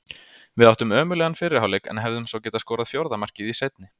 Við áttum ömurlegan fyrri hálfleik en hefðum svo geta skorað fjórða markið í seinni.